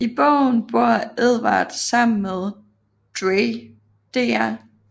I bogen bor Edward sammen med Dr